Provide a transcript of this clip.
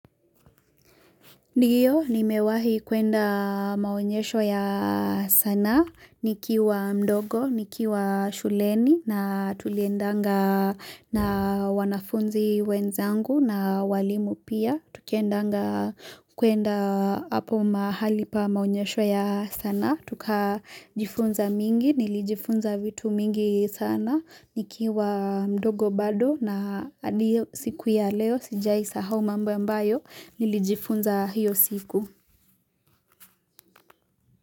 Ndiyo, nimewahi kuenda maonyesho ya sana, nikiwa mdogo, nikiwa shuleni na tuliendanga na wanafunzi wenzangu na walimu pia. Tukiendanga kuenda hapo mahali pa maunyesho ya sanaa Tuka jifunza mingi, nilijifunza vitu mingi sana nikiwa mdogo bado na hadi hio siku ya leo Sijai sahau mambo ambayo nilijifunza hiyo siku.